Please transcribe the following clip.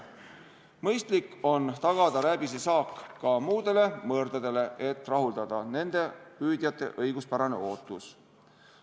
Mõistlik on tagada rääbisesaak ka muude mõrdade puhul, et rahuldada nende püüdjate õiguspärast ootust.